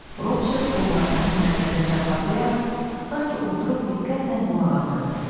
Rotşild qollarını sinəsində çarpazlayaraq sanki oturub diqqətlə qulaq asırdı.